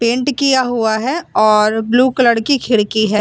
Paint किया हुआ है और ब्लू कलर की खिड़की है।